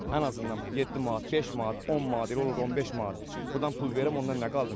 Ən azından 7 manat, 5 manat, 10 manat, elə olur 15 manat burdan pul verim, ondan nə qaldı mənə?